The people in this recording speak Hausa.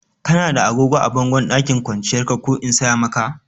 Kana da agogon bango a ɗakin kwanciyar ka ko in saya maka?